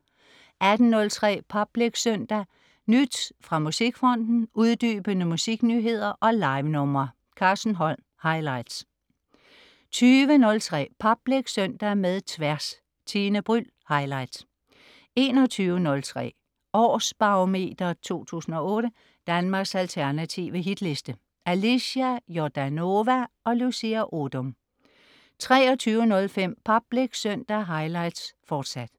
18.03 Public Søndag. Nyt fra musikfronten, uddybende musiknyheder og livenumre. Carsten Holm. Highlights 20.03 Public Søndag med Tværs. Tine Bryld. Highlights 21.03 Års Barometer 2008. Danmarks alternative hitliste. Alicia Jordanova og Lucia Odoom 23.05 Public Søndag highlights, fortsat